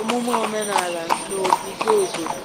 omume omenala n'ogige obodo.